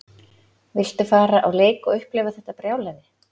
Viltu fara á leik og upplifa þetta brjálæði?